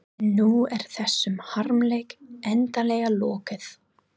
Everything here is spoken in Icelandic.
En nú er þessum harmleik endanlega lokið.